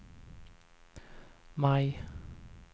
maj